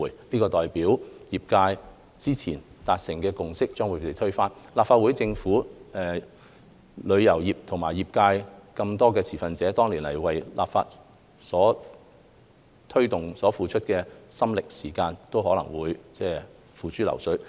這代表業界之前達成的共識將被推翻，立法會、政府、旅遊業界等眾多持份者，多年來為推動立法所付出的心力和時間，都可能會付諸流水。